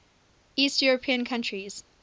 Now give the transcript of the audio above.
east european countries